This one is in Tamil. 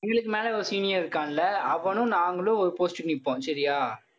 எங்களுக்கு மேல ஒரு senior இருக்கான்ல அவனும் நாங்களும் ஒரு post க்கு நிற்போம் சரியா?